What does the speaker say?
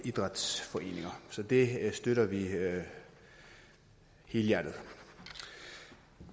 idrætsforeninger så det støtter vi helhjertet